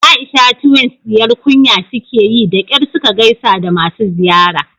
Aisha twins diyar kunya sukeyi da kyar suka gaisa da masu ziyara